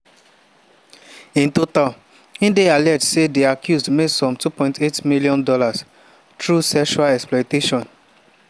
in total e dey alleged say di accused make some $2.8m through sexual exploitation.